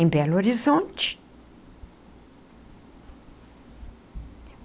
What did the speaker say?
em Belo Horizonte.